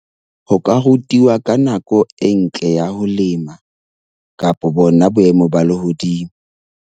Ho ka rutwa ka nako e ntle ya ho lema kapa bona boemo ba lehodimo.